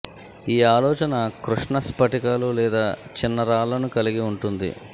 ఈ ఆలోచన కృష్ణ స్ఫటికాలు లేదా చిన్న రాళ్లను కలిగి ఉంటుంది